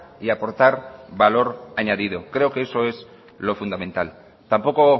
y aportar valor añadido creo que eso es lo fundamental tampoco